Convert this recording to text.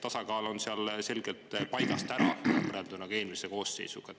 Tasakaal on seal selgelt paigast ära võrreldes eelmise koosseisuga.